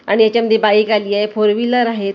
आणि याच्यामध्ये बाईक आलीए फोर व्हिलर आहेत अनेक प्रकार--